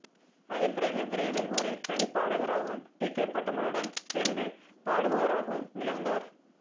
அதன்பிறகு விரைவில் ஒரு தனிப் பாடகராகவும் டி கே பட்டம்மளுடன் சேர்ந்து பாடுபவராகவும் மிளிர்ந்தார்